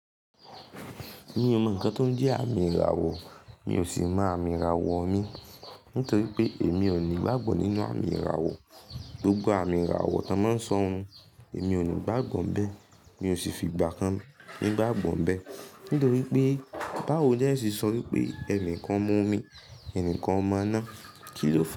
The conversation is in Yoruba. Mi ò mọ ǹkan tó ń jẹ́ àmì ìràwọ̀, mi ò sì mọ àmì ìràwọ̀ mi. Nítorí pé èmi ò ní ìgbàgbọ́ nínú àmì ìràwọ̀. Gbogbo àmì ìràwọ̀ tí wọ́n máa ń sọ hun, èmi ò ní ìgbàgbọ́ bẹ́ẹ̀. Mi ò sì fi ìgbà kan nígbàgbọ́ níbè Nítorí pé, báwo ni ẹ ó ṣe sọ wípé ẹnìkan ọmọ omi, ẹnìkan ọmọ iná, kí ló fàá?